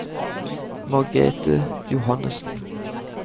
Margrethe Johannessen